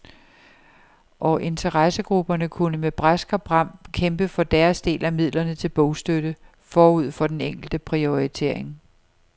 Og interessegrupperne kunne med brask og bram kæmpe for deres del af midlerne til bogstøtte, forud for den enkelte prioritering.